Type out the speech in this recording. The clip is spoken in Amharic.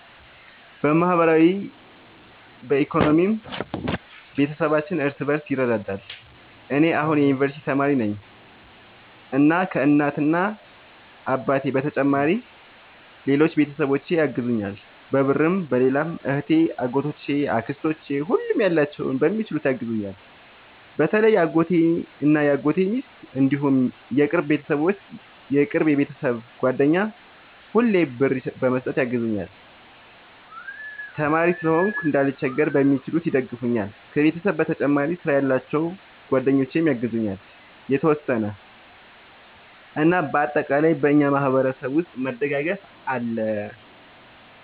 በማህበራዊም በኢኮኖሚም ቤተሰባችን እርስ በርስ ይረዳዳል። እኔ አሁን የዩንቨርስቲ ተማሪ ነኝ እና ከ እናት አባቴ በተጨማሪ ሌሎች ቤተሰቦቼ ያግዙኛል በብርም በሌላም እህቴ አጎቶቼ አክስቶቼ ሁሉም ያላቸውን በሚችሉት ያግዙኛል። በተለይ አጎቴ እና የአጎቴ ሚስት እንዲሁም የቅርብ የቤተሰብ ጓደኛ ሁሌ ብር በመስጠት ያግዙኛል። ተማሪም ስለሆንኩ እንዳልቸገር በሚችሉት ይደግፈኛል። ከቤተሰብ በተጨማሪ ስራ ያላቸው ጓደኞቼ ያግዙኛል የተወሰነ። እና በአጠቃላይ በእኛ ማህበረሰብ ውስጥ መደጋገፍ አለ